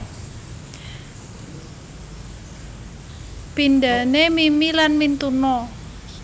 Pindhane mimi lan mintuna